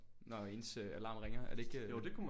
Når ens øh alarm ringer er det ikke øh